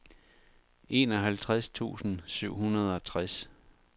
enoghalvtreds tusind syv hundrede og tres